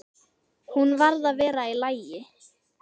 Hún varð að vera í lagi.